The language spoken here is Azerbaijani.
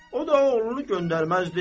O da oğlunu göndərməzdi.